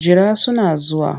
Jira suna zuwa.